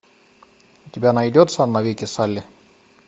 у тебя найдется навеки салли